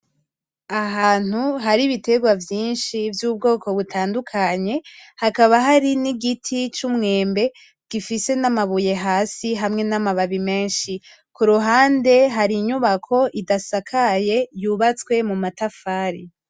Ahantu har'ibiterwa vyinshi vy'ubwoko butandukanye, hakaba hari n'igiti c'umwembe gifise n'amabuye hasi hamwe n'amababi menshi, kuruhande hari inyubako idasakaye yubatswe mumatafari.